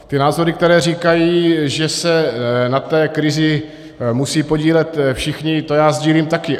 Ty názory, které říkají, že se na té krizi musejí podílet všichni, to já sdílím taky.